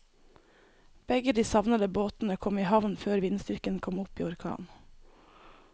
Begge de savnede båtene kom i havn før vindstyrken kom opp i orkan.